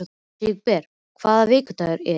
Sigurbergur, hvaða vikudagur er í dag?